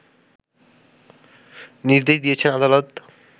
নির্দেশ দিয়েছেন আদালত